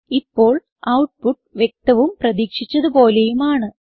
ഇപ്പോൾ ഔട്ട്പുട്ട് വ്യക്തവും പ്രതീക്ഷിച്ചത് പോലെയുമാണ്